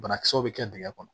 Banakisɛw bɛ kɛ dingɛ kɔnɔ